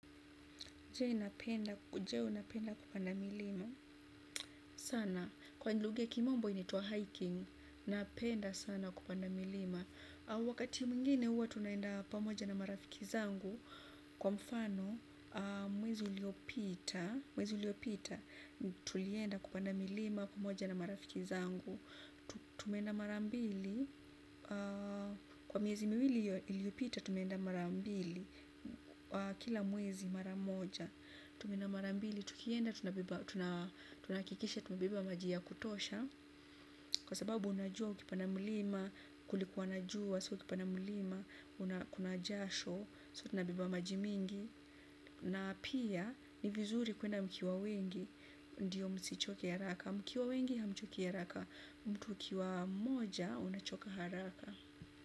Je unapenda kupanda milima sana. Kwa luga ya kimombo inaituwa hiking, napenda sana kupanda milima. Wakati mwingine uwa tunaenda pamoja na marafiki zangu. Kwa mfano mwezi uliopita tulienda kupanda milima pamoja na marafiki zangu. Tumenda marambili. Kwa miezi miwili iliopita, tumenda marambili. Kila mwezi maramoja. Tumeenda marambili, tukienda, tunakikisha tumebeba maji ya kutosha. Kwa sababu unajua ukipanda mlima, kulikuwanajua, soo ukipana mlima, unakunajasho Soo tunabeba majimingi. Na pia, ni vizuri kuenda mkiwa wengi, ndiyo msichoke haraka. Mkiwa wengi, hamchoki haraka. Mtu ukiwa mmoja, unachoka haraka.